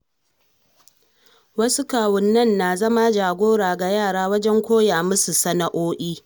Wasu kawunnai na zama jagora ga yara wajen koya musu sana'o'i.